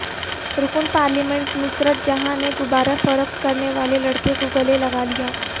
رکن پارلیمنٹ نصرت جہاں نے غبارہ فروخت کرنے والے لڑکے کو گلے لگالیا